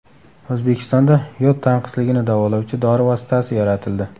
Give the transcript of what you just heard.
O‘zbekistonda yod tanqisligini davolovchi dori vositasi yaratildi.